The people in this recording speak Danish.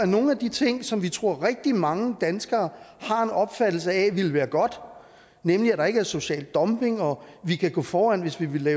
nogle af de ting som vi tror rigtig mange danskere har en opfattelse af ville være godt nemlig at der ikke er social dumping og at vi kan gå foran hvis vi